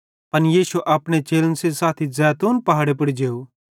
पन यीशु अपने चेलन सेइं साथी जैतून पहाड़े पुड़ जेव